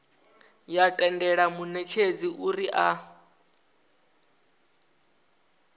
ya tendela munetshedzi uri a